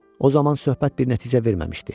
O zaman söhbət bir nəticə verməmişdi.